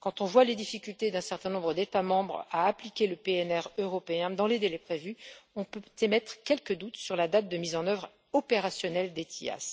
Quand on voit les difficultés d'un certain nombre d'États membres à appliquer le PNR européen dans les délais prévus, on peut émettre quelques doutes sur la date de mise en œuvre opérationnelle d'ETIAS.